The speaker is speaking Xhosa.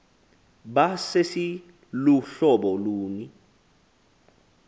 ba sesiluhlobo luni